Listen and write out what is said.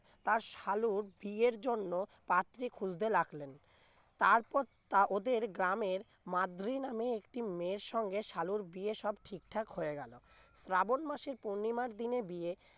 তা স্যালুর বিয়ের জন্য পাত্রী খুঁজতে লাগলেন তারপর তা ওদের গ্রামের মাদ্রি নামে একটি মেয়ের সঙ্গে সালুর বিয়ে সব ঠিকঠাক হয়ে গেল শ্রাবণ মাসের পূর্ণিমার দিনে বিয়ে